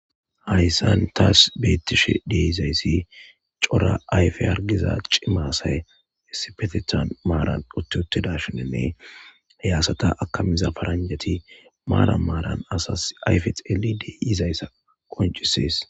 hayssan taas beettishe deizayssi cora ayfe argiza cimasay essipetethan maaran uttiotidashininne heyasata akamiza paranjati maara maaran asas ayfe xelidey izayssa qoncisees